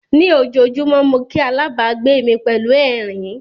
Ní ojoojúmọ́ mo kí alábàgbé mi pẹ̀lú ẹ̀rín.